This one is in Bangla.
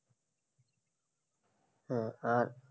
হ্যাঁ, আর